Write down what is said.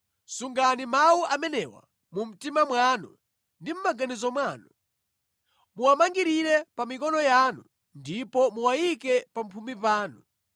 Sungani mawu amenewa mu mtima mwanu ndi mʼmaganizo mwanu, muwamangirire pa mikono yanu ndipo muwayike pamphumi panu.